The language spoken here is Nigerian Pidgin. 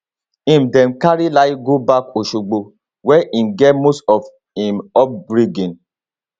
im dem carry layi go back osogbo wia im get most of im upbringing